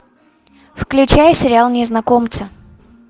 включай сериал незнакомцы